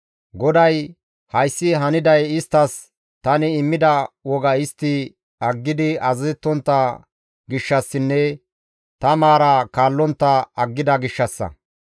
GODAY, «Hayssi haniday isttas tani immida woga istti aggidi azazettontta gishshassinne ta maara kaallontta aggida gishshassa.